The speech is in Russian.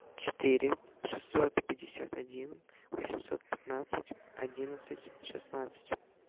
четыре шестьсот пятьдесят один восемьсот пятнадцать одиннадцать шестнадцать